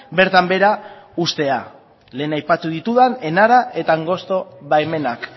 bertan behera uztea lehen aipatu ditudan enara eta angosto baimenak